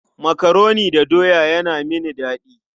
Makaroni da doya yana mini daɗi.